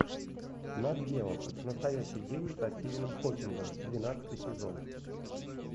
нат гео настоящий гений со стивеном хокингом двенадцатый сезон